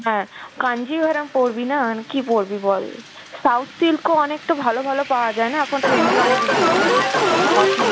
হ্যাঁ কাঞ্জিভারাম পরবি না কি পরবি বল? south silk ও অনেকটা ভালো ভালো পাওয়া যায় না এখন trendy অনেক উঠেছে, authen.